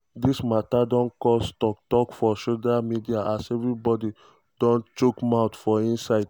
dis mata don cause tok tok for social media as everybody don chook mouth for inside.